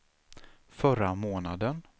förra månaden